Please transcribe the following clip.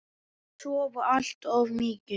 Og sofa allt of mikið.